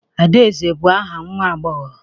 Adaeze bụ aha nwa agbọghọ